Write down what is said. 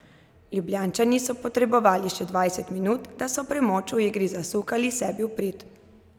Ljubljančani so potrebovali še dvajset minut, da so premoč v igri zasukali sebi v prid.